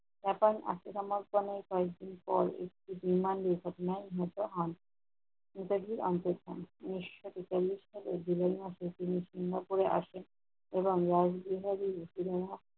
Japan ফাঁসির সমর্থনে কয়েকদিন পর, একটি বিমান দুর্ঘটনায় নিহত হন। নেতাজির আন্তরস্থান- নিংস্ব ছিন্ন করে আসেন এবং রাজনৈতিক ভাবে অতুলনীয়